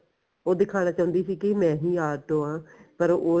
ਉਹ ਦਿਖਾਣਾ ਚਾਹੁੰਦੀ ਸੀ ਕੀ ਮੈਂ ਹੀ ਆਟੋ ਆ ਪਰ ਉਹ